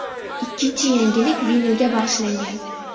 Ikkinchi yangilik vinilga bag‘ishlangan.